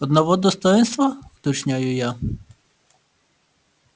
одного достоинства уточняю я